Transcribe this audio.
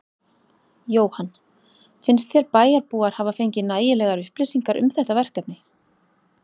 Jóhann: Finnst þér bæjarbúar hafa fengið nægilegar upplýsingar um þetta verkefni?